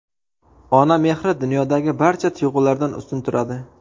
Ona mehri dunyodagi barcha tuyg‘ulardan ustun turadi.